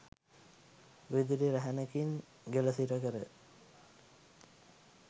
විදුලි රැහැනකින් ගෙල සිරකර